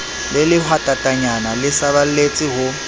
le lehwatatanyana le saballetse ho